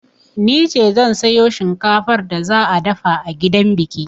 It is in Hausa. Nice zan sayo shinkafar da za a dafa a gidan biki.